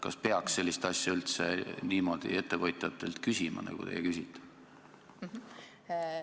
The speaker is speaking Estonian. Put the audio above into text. Kas peaks sellist asja üldse niimoodi ettevõtjatelt küsima, nagu teie küsisite?